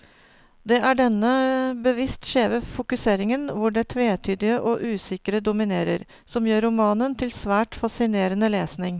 Det er denne bevisst skjeve fokuseringen, hvor det tvetydige og usikre dominerer, som gjør romanen til svært fascinerende lesning.